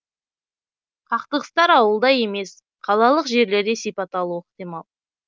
қақтығыстар ауылда емес қалалық жерлерде сипат алуы ықтимал